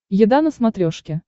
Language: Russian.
еда на смотрешке